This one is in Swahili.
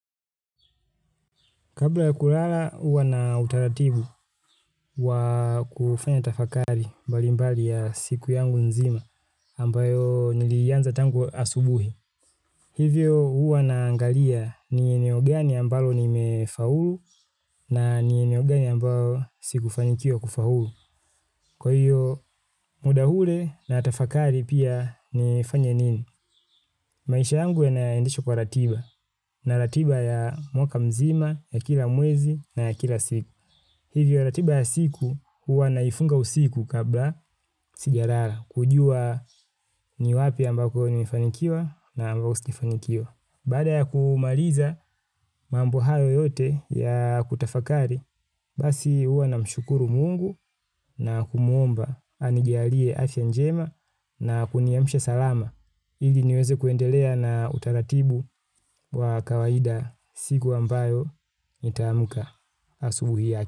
Kabla ya kulala, uwa na utaratibu wa kufanya tafakari mbali mbali ya siku yangu nzima ambayo nilianza tangu asubuhi. Hivyo uwa na angalia ni eneo gani ambalo ni mefaulu na ni eneo gani ambayo sikufanikiwa kufaulu. Kwa hiyo, muda ule natafakari pia nifanye nini? Maisha yangu yanaendishwa kwa ratiba na ratiba ya mwaka mzima, ya kila mwezi na ya kila siku. Hivyo ratiba ya siku huwa naifunga usiku kabla sijalala kujua ni wapi ambako nimefanikiwa na ambako sijafanikiwa. Baada ya kumaliza mambo hayo yote ya kutafakari, basi huwa na mshukuru mungu na kumuomba anijialie afya njema na kuniamsha salama. Ili niweze kuendelea na utaratibu wa kawaida siku ambayo nitaauka asubuhi yaki.